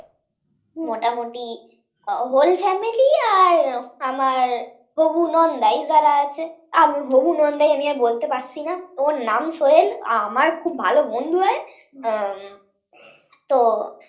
মোটামুটি whole family আর আমার হবু নন্দাই যারা আছে, আমি হবু নন্দায় নিয়ে বলতে পারছি না। ওর নাম সোহেল, আমার খুব ভালো বন্ধু হয়। আহ তো